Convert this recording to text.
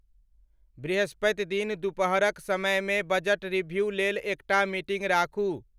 वृहस्पति दिन दुपहरक समयमे बजट रीभ्यू लेल एकटा मीटिंग राखू